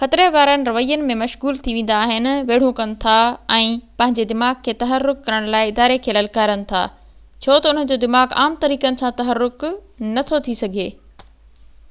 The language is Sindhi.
خطري وارن روين ۾ مشغول ٿي ويندا آهن ويڙهون ڪن ٿا ۽ پنهنجي دماغ کي تحرڪ ڪرڻ لاءِ اداري کي للڪارين ٿا ڇو تہ انهن جو دماغ عام طريقن سان تحرڪ نٿو ٿي سگهي